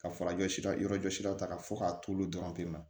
Ka fara jɔsira yɔrɔ jɔsiraw ta ka fɔ k'a t'olu dɔrɔn kɛ